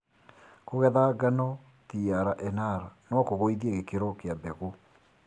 kũgeethangano trnr nokũgũithie gĩkĩro kĩa mbegũ.